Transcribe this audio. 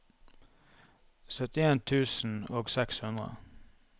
syttien tusen og seks hundre